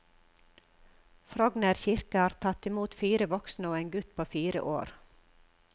Frogner kirke har tatt imot fire voksne og en gutt på fire år.